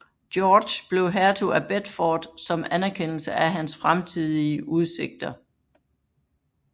George blev hertug af Bedford som anerkendelse af hans fremtidige udsigter